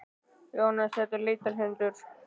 Jóhannes: Þetta er leitarhundur?